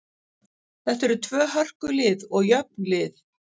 Þetta eru tvö hörku lið og jöfn lið.